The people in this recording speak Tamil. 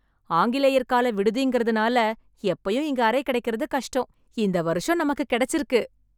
ஆங்கிலேயர் கால விடுதின்றதனால எப்பயும் இங்க அறை கிடைக்கிறது கஷ்டம், இந்த வருஷம் நமக்கு கிடைச்சிருக்கு.